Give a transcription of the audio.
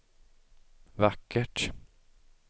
vackert